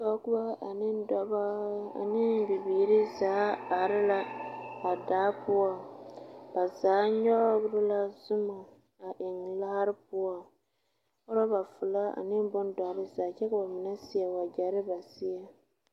Pɔgebɔ ane dɔbɔ, ane bibiiri zaa are la a daa poɔ, ba zaa nyɔgere la zoma a eŋ laare poɔŋ, rɔba folɔ ane bondɔre zaa kyɛ ka bamine a seɛ wagyɛre